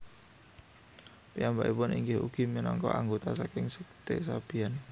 Piyambakipun inggih ugi minangka anggota saking sekte Sabian